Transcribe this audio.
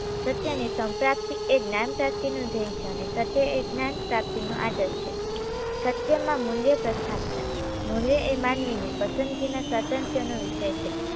સત્યની સંપ્રાપ્તી એ જ્ઞાન પ્રાપ્તીનો ધ્યેય છે અને સત્ય એ જ્ઞાનપ્રાપ્તીનો આદર્શ છે. સત્યમાં મૂલ્ય પ્રસ્થાપના મૂલ્ય એ માનવીની પસંદગીના સાધનતાનો છે